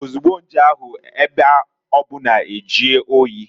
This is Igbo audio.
Ozugbo nje ahu, ebe obuna ejie oyi.